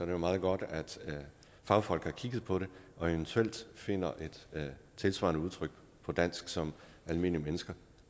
jo meget godt at fagfolk har kigget på det og eventuelt finder et tilsvarende udtryk på dansk som almindelige mennesker